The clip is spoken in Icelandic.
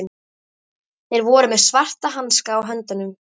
Þeir voru með svarta hanska á höndunum.